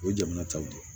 O ye jamana taw de ye